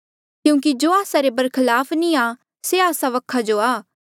क्यूंकि जो आस्सा रे बरखलाफ नी आ से आस्सा वखा जो आ